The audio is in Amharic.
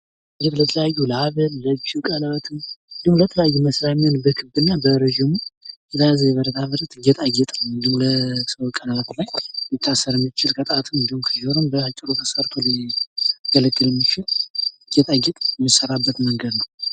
ይህ ለተለያዩ ለሃብል፣ ለ እጅ ቀለበትም፣ እንዲሁም ለተለያዩ መስሪያ የሚሆን በክብ እና በረጅሙ የተያያዘ ብረታ ብረት፣ ጌጣጌጥ ነው ፤ እንዲሁም ለሰው ቀለበት ላይ ሊታሰር የሚችል ፤ ለጣትም እንዲሁም ለጆሮ ባጭሩ ተሰርቶ ሊገለገል የሚችል ጌጣጌጥ የሚሰራበት መንገድ ነው።